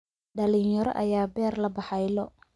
Dhalinyaro ayaa beer la baxay lo'